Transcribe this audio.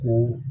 Ko